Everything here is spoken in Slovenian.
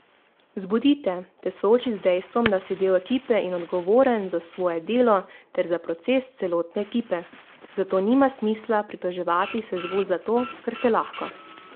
Zbudi te, te sooči z dejstvom, da si del ekipe in odgovoren za svoje delo ter za proces celotne ekipe, zato nima smisla pritoževati se zgolj zato, ker se lahko.